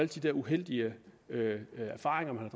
de uheldige erfaringer man